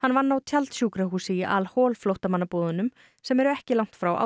vann á tjaldsjúkrahúsi í al hol flóttamannabúðunum sem eru ekki langt frá